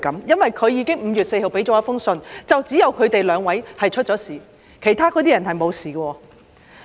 因為她在5月4日提交了一封信，指只有他們兩位出事，其他人沒有事。